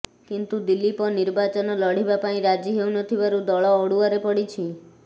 କିନ୍ତୁ ଦିଲୀପ ନିର୍ବାଚନ ଲଢିବା ପାଇଁ ରାଜି ହେଉ ନ ଥିବାରୁ ଦଳ ଅଡୁଆରେ ପଡ଼ିଛି